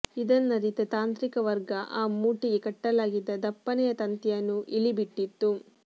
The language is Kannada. ಇದನ್ನರಿತ ತಾಂತ್ರಿಕ ವರ್ಗ ಆ ಮೂಟೆಗೆ ಕಟ್ಟಲಾಗಿದ್ದ ದಪ್ಪನೆಯ ತಂತಿಯನ್ನು ಇಳಿ ಬಿಟ್ಟಿತ್ತು